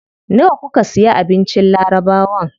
Nawa kuka siya abincin labarawan?